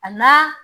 A n'a